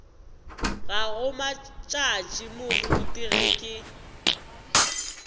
gago matšatši moruti ge ke